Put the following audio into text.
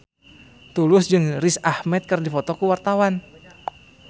Tulus jeung Riz Ahmed keur dipoto ku wartawan